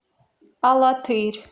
алатырь